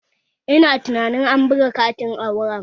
Ina tunanin an buga katin auren